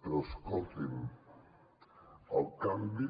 però escolti’m el canvi